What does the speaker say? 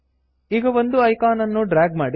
ಈಗ ಒಂದು ಐಕಾನ್ ನನ್ನು ಡ್ರ್ಯಾಗ್ ಮಾಡಿ